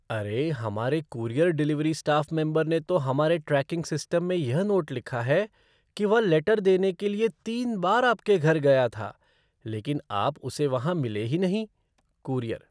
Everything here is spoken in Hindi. अरे, हमारे कूरियर डिलीवरी स्टाफ़ मेंबर ने तो हमारे ट्रैकिंग सिस्टम में यह नोट लिखा है कि वह लेटर देने के लिए तीन बार आपके घर गया था, लेकिन आप उसे वहां मिले ही नहीं। कूरियर